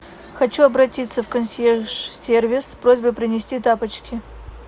хочу обратиться в консьерж сервис с просьбой принести тапочки